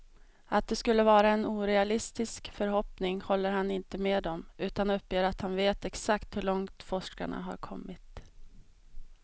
Att det skulle vara en orealistisk förhoppning håller han inte med om, utan uppger att han vet exakt hur långt forskarna har kommit.